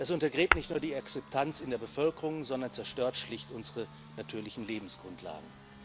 Das untergräbt nicht nur die Akzeptanz in der Bevölkerung, sondern zerstört schlicht unsere natürlichen Lebensgrundlagen.